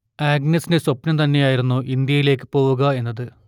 ആഗ്നസിന്റെ സ്വപ്നം തന്നെയായിരുന്നു ഇന്ത്യയിലേക്കു പോവുക എന്നത്